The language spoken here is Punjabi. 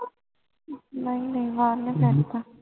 ਨਾਈ ਨਾਈ ਮਾਰ ਨਾਈ ਸਕਦਾ